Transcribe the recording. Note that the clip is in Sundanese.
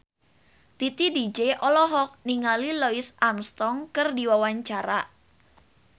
Titi DJ olohok ningali Louis Armstrong keur diwawancara